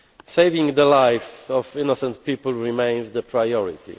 Saving the lives of innocent people remains the priority.